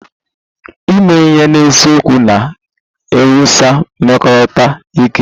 Ime ihe n'eziokwu na-ewusi mmekọrịta ike